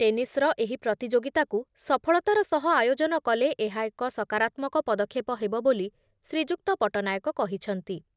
ଟେନିସର ଏହି ପ୍ରତିଯୋଗିତାକୁ ସଫଳତାର ସହ ଆୟୋଜନ କଲେ ଏହା ଏକ ସକାରାତ୍ମକ ପଦକ୍ଷେପ ହେବ ବୋଲି ଶ୍ରୀଯୁକ୍ତ ପଟ୍ଟନାୟକ କହିଛନ୍ତି